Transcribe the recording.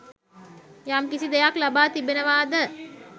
යම්කිසි දෙයක් ලබා තිබෙනවාද